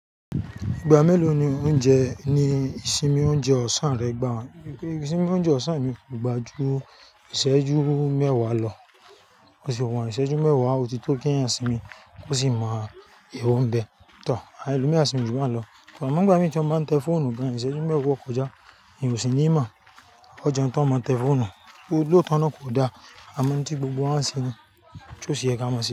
Ìgbà mélòó ni oúnjẹ ní ìsinmi oúnjẹ ọ̀sán rẹ gbà wá? Ìsinmi oúnjẹ ọ̀sán mi kò gbajú, ìṣẹ́jú mẹ́wàá lọ, ó sì wọ̀n, ìṣẹ́jú mẹ́wàá ó ti tó kí ẹ̀yin sinmi, ó sì máa yowo ń bẹ. Tọ̀, àwọn ẹlòmíràn sinmi jù bá n lọ. Amọ ń nigbami ti wọn tí wọ́n máa ń tẹ fóònù gán, ìṣẹ́jú mẹ́wàá o kọjá, èyí ò sì ní mọ̀. O jẹun tán, o máa tẹ fóònù, lóòótọ́ náà kò dáa, àmọ́ ohun tí gbogbo wà ń ṣe ni, tí ó sì yẹ kí a máa ṣe.